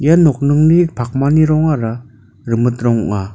ia nokningni pakmani rongara rimit rong ong·a.